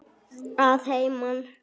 Að heiman?